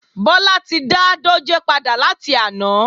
Bọ́lá ti dá dòjé padà láti àná